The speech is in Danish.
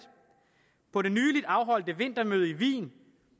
på det nyligt afholdte vintermøde i wien